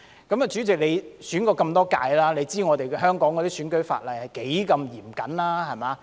代理主席，你參選過那麼多屆選舉，你知香港的選舉法例是多麼嚴謹。